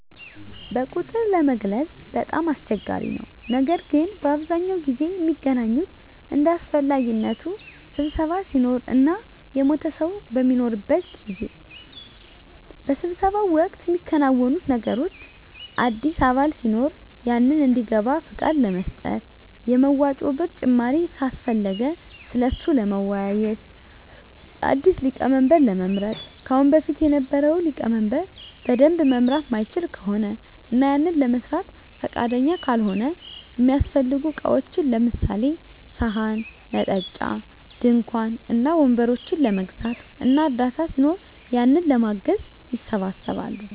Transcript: በቁጥር ለመግለፅ በጣም አስቸጋሪ ነው ነገር ግን በአብዛኛው ጊዜ ሚገናኙት እንደ አሰፈላጊነቱ ስብሰባ ሲኖር እና የሞተ ሰው በሚኖርበት ጊዜ። በስብሰባው ወቅት ሚከናወኑት ነገሮች አዲስ አባል ሲኖር ያንን እንዲገባ ፍቃድ ለመስጠት፣ የመዋጮ ብር ጭማሪ ካሰፈለገ ስለሱ ለመወያዬት፣ አዲስ ሊቀመንበር ለመምረጥ ከአሁን በፊት የነበረው ሊቀመንበር በደንብ መምራት ማይችል ከሆነ እና ያንን ለመስራት ፍቃደኛ ካልሆነ፣ እሚያሰፈልጉ እቃዎችን ለምሳሌ፦ ሰሀን፣ መጠጫ፣ ድንኳን እና ወንበሮችን ለመግዛት እና እርዳታ ሲኖር ያንን ለማገዝ ይሰባሰባሉ።